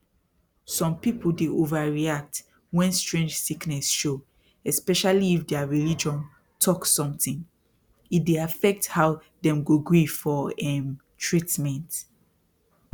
some people dey overreact when strange sickness show especially if their religion talk something e dey affect how dem go gree for um treatment